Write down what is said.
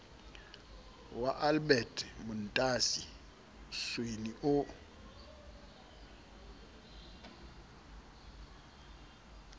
wa albert montasi sweni o